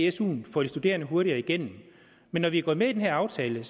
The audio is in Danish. i suen får de studerende hurtigere igennem men når vi er gået med i den her aftale